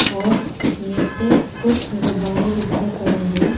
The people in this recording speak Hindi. और नीचे कुछ गुब्बारे बिखरे पड़े हैं।